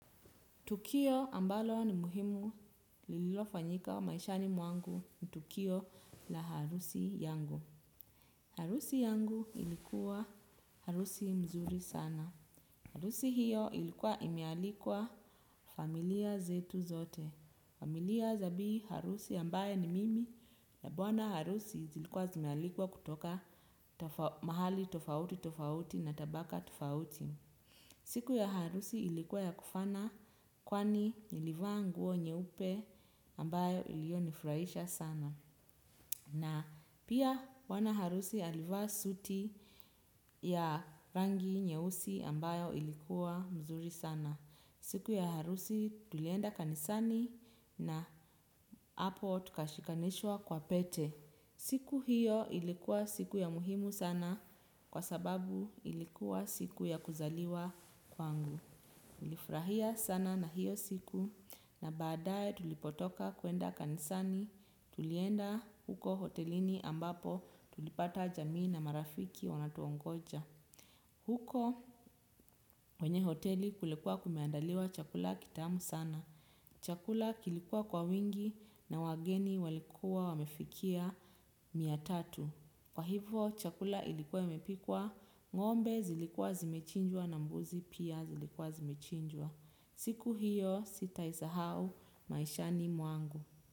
Tukio ambalo ni muhimu lililofanyika maishani mwangu ni tukio la harusi yangu. Harusi yangu ilikuwa harusi nzuri sana. Harusi hiyo ilikuwa imealikwa familia zetu zote. Familia za bii harusi ambaye ni mimi na bwana harusi zilikuwa zimealikwa kutoka mahali tofauti tofauti na tabaka tofauti. Siku ya harusi ilikuwa ya kufana kwani nilivaa nguo nyeupe ambayo iliyonifurahisha sana. Na pia bwana harusi alivaa suti ya rangi nyeusi ambayo ilikuwa mzuri sana. Siku ya harusi tulienda kanisani na hapo tukashikanishwa kwa pete. Siku hiyo ilikuwa siku ya muhimu sana kwa sababu ilikuwa siku ya kuzaliwa kwangu. Tulifurahia sana na hiyo siku na baadae tulipotoka kwenda kanisani tulienda huko hotelini ambapo tulipata jamii na marafiki wanatuongoja. Huko kwenye hoteli kulikuwa kumeandaliwa chakula kitamu sana. Chakula kilikuwa kwa wingi na wageni walikuwa wamefikia mia tatu. Kwa hivyo chakula ilikuwa imepikwa ng'ombe zilikuwa zimechinjwa na mbuzi pia zilikuwa zimechinjwa. Siku hiyo, sitaisahau, maishani mwangu.